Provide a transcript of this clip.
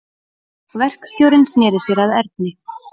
Verkstjórinn sneri sér að Erni.